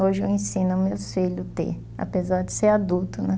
Hoje eu ensino meus filhos a ter, apesar de ser adulto, né?